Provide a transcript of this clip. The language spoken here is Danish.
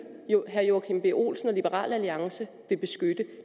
herre joachim b olsen og liberal alliance vil beskytte